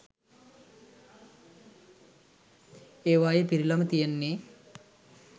ඒවායේ පිරිලම තියෙන්නේ